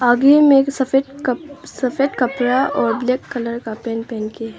आगे में एक सफेद कप सफेद कपड़ा और ब्लैक कलर का पेंट पहन के है।